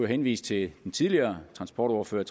henvise til den tidligere trafikordfører